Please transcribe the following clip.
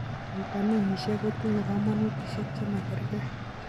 Vitaminishek kotinye komonutishiek chema kerke.